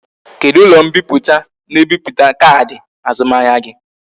Kedu ulo mpiputa na e biputa kaadi azumahia gi?